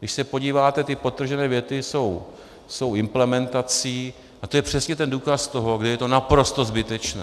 Když se podíváte, ty podtržené věty jsou implementací a to je přesně ten důkaz toho, kdy je to naprosto zbytečné.